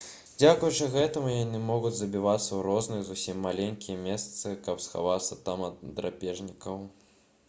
дзякуючы гэтаму яны могуць забівацца ў розныя зусім маленькія месцы каб схавацца там ад драпежнікаў